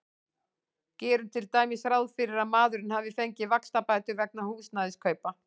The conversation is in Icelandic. Gerum til dæmis ráð fyrir að maðurinn hafi fengið vaxtabætur vegna húsnæðiskaupa.